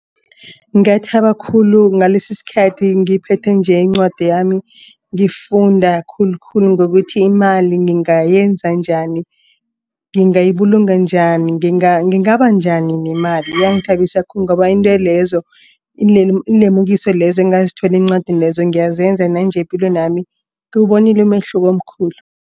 Ngathaba khulu ngalesi sikhathi ngiphethe nje incwadi yami. Ngifunda khulukhulu ngokuthi imali ngingayenza njani. Ngingayibulunga njani ngingaba njani nemali yangithabisa khulu ngoba iintolezo iinlemukiso lezo engazithola encwadini lezo ngiyazenza nanje epilweni yami ngiwubonile umehluko omkhulu.